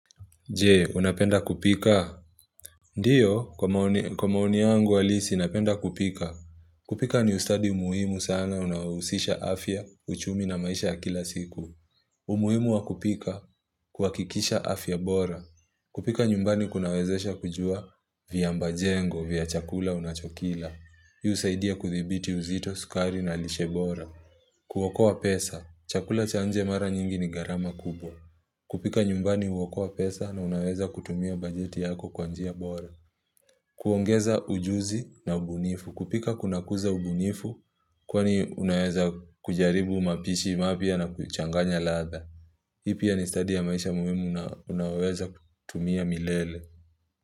Je? Unapenda kupika? Ndiyo, kwa maoni, kwa maoni yangu halisi, napenda kupika. Kupika ni ustadi muhimu sana, unaohusisha afya, uchumi na maisha ya kila siku. Umuhimu wa kupika, kuhakikisha afya bora. Kupika nyumbani kunawezesha kujua vyambajengo, vya chakula unachokila. Yu husaidia kuthibiti uzito, sukari na lishe bora. Kuokoa pesa, chakula cha nje mara nyingi ni gharama kubwa. Kupika nyumbani huokoa pesa na unaweza kutumia bajeti yako kwa njia bora. Kuongeza ujuzi na ubunifu. Kupika kunakuza ubunifu, kwani unaweza kujaribu mapishi mapya na kuchanganya ladha. Hii pia ni study ya maisha muhimu una unaoweza kutumia milele.